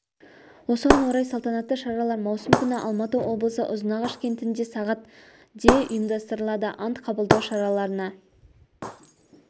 осыған орай салтанатты шаралар маусым күні алматы облысы ұзынағаш кентінде сағат де ұйымдастырылады ант қабылдау шараларына